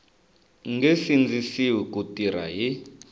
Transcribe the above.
nge sindzisiwi ku tirha hi